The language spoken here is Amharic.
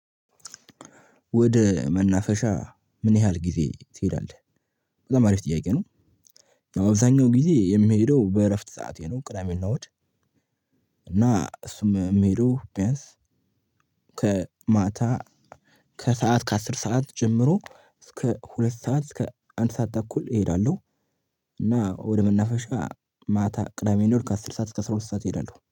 ወደ መናፈሻ ምን ያህል ጊዜ ትሄዳለህ? በጣም አሪፍ ጥያቄ ነው። አበዛኛው ጊዜ የምሄደው በእረፍት ሰዓቴ ነው ቅዳሜ እና እሁድ እና እሱም የምሄደው ቢያንስ ከማታ ከሰአት ከአስር ሰዓት ጀምሮ እስከ ሁለት ሰዓት እስከ አንድ ሰዓት ተኩል እሄዳለሁ። እና ወደ መናፈሻ ማታ ቅዳሜ እና እሁድ ከአስር ሰዓት እስከ አስራ ሁለት ሰዓት እሄዳለሁ።